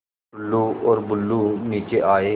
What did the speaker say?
टुल्लु और बुल्लु नीचे आए